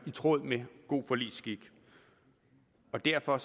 i tråd med god forligsskik derfor